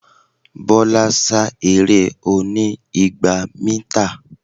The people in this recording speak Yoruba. Bọ́lá sá eré oní igba mítà.